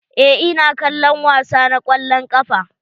Eh, ina kallon wasa na kwallon ƙafa.